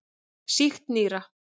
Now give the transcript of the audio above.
Sýkt nýra.